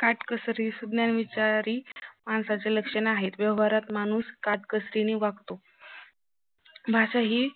काटकसरी सुज्ञ विचारी माणसाचे लक्षण आहे व्यवहारात माणूस काटकसरी ने वागतो भाषा ही